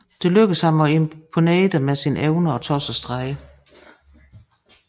Det lykkedes ham at imponere dem med sine evner og tossestreger